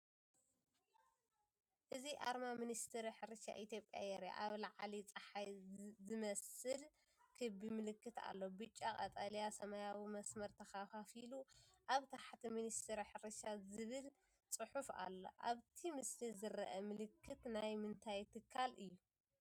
እዚ ኣርማ ሚኒስትሪ ሕርሻ ኢትዮጵያ የርኢ። ኣብ ላዕሊ ጸሓይ ዝመስል ክቢ ምልክት ኣሎ፣ ብጫ፣ ቀጠልያን ሰማያውን መስመር ተኸፋፊሉ። ኣብ ታሕቲ "ሚኒስትሪ ሕርሻ"ዝብል ጽሑፍ ኣሎ። ኣብቲ ምስሊ ዝርአ ምልክት ናይ ምንታይ ትካል እዩ?